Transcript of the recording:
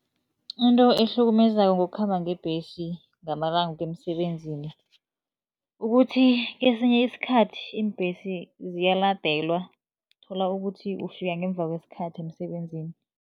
Into ehlukumezako ngokukhamba ngebhesi ngamalanga ukuya emsebenzini. Ukuthi kesinye isikhathi iimbhesi ziyaladelwa, uthola ukuthi ufika ngemva kwesikhathi emsebenzini.